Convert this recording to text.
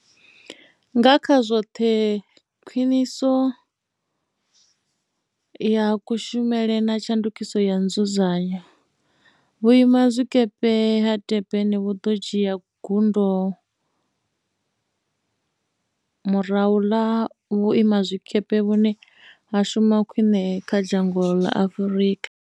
Nga kha zwoṱhe khwiṋiso ya kushumele na tshandukiso ya nzudzanyo, Vhuima zwikepe ha Durban vhu ḓo dzhia gundo murahu ḽa u vha vhuima zwikepe vhune ha shuma khwiṋe kha dzhango ḽa Afrika.